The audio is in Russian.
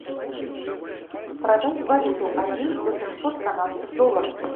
продать валюту один восемьсот канадских долларов